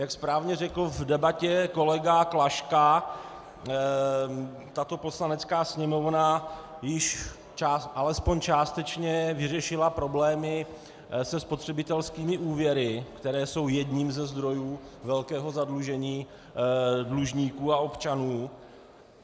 Jak správně řekl v debatě kolega Klaška, tato Poslanecká sněmovna již alespoň částečně vyřešila problémy se spotřebitelskými úvěry, které jsou jedním ze zdrojů velkého zadlužení dlužníků a občanů.